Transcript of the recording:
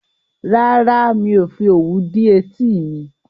Rárá, mi ò fi òwú dí etí mi